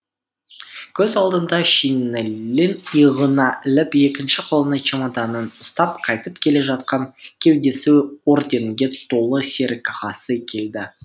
көз алдына шинелін иығына іліп екінші қолына чемоданын ұстап қайтып келе жатқан кеудесі орденге толы серік ағасы келді